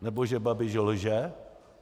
Nebo že Babiš lže?